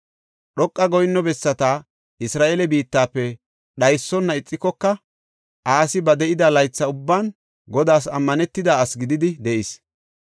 Dhoqa goyinno bessata Isra7eele biittafe dhaysona ixikoka Asi ba de7ida laytha ubban Godaas ammanetida asi gididi de7is.